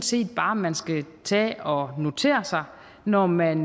set bare man skal tage og notere sig når man